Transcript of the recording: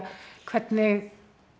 hvernig